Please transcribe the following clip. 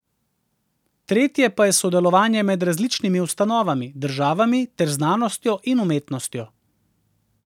Tretje pa je sodelovanje med različnimi ustanovami, državami ter znanostjo in umetnostjo.